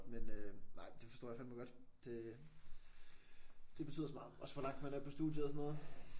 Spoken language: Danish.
Men øh nej det forstår jeg fandeme godt det det betyder så meget også hvor langt man er på studiet og sådan noget